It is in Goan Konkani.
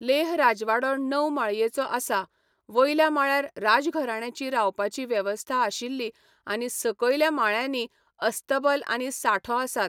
लेह राजवाडो णव माळयेचो आसा, वयल्या माळ्यार राजघराण्याची रावपाची वेवस्था आशिल्ली आनी सकयल्या माळयांनी अस्तबल आनी सांठो आसात.